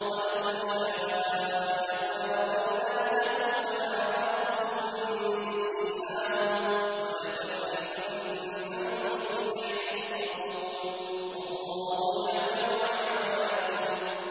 وَلَوْ نَشَاءُ لَأَرَيْنَاكَهُمْ فَلَعَرَفْتَهُم بِسِيمَاهُمْ ۚ وَلَتَعْرِفَنَّهُمْ فِي لَحْنِ الْقَوْلِ ۚ وَاللَّهُ يَعْلَمُ أَعْمَالَكُمْ